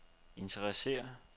interesserer